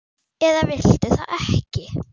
eða viltu það ekki?